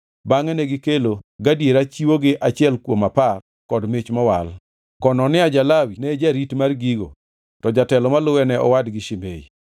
Bangʼe negikelo gadiera chiwo gi achiel kuom apar kod mich mowal. Konania ja-Lawi ne jarit mar gigo to jatelo maluwe ne owadgi Shimei.